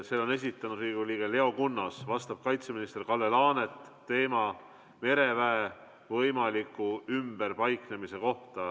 Selle on esitanud Riigikogu liige Leo Kunnas, vastab kaitseminister Kalle Laanet ja teema on mereväe võimalik ümberpaiknemine.